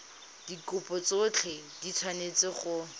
dikopo tsotlhe di tshwanetse go